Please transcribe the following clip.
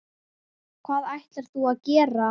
Hvað ætlar þú að gera?